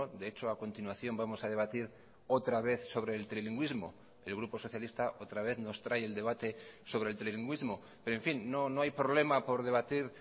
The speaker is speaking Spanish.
de hecho a continuación vamos a debatir otra vez sobre el trilingüismo el grupo socialista otra vez nos trae el debate sobre el trilingüismo pero en fin no no hay problema por debatir